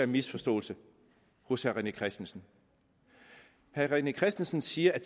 misforståelse hos herre rené christensen herre rené christensen siger at